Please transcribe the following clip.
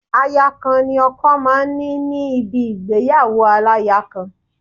Aya kan ni ọkọ máa ń ní ní níbi ìgbéyàwó aláya kan